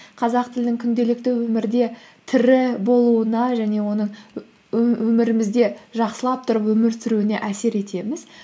қазақ тілінің күнделікті өмірде тірі болуына және оның өмірімізде жақсылап тұрып өмір сүруіне әсер етеміз